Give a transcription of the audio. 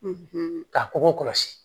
Ka kɔkɔ kɔlɔsi